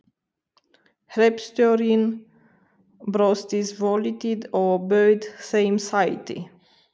Hreppstjórinn brosti svolítið og bauð þeim sæti.